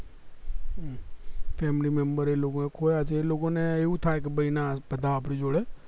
family member એનું કોઈ ખોવાયા છે એ લોકો ને એવું થાય કે ભય ના બધા આપડી જોડે